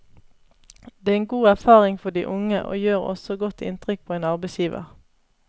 Det er en god erfaring for de unge og gjør også godt inntrykk på en arbeidsgiver.